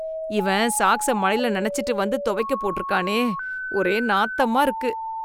Even சாக்ஸ மழைல நனச்சிட்டு வந்து துவைக்க போட்டுருக்கானே, ஒரே நாத்தமா இருக்கு.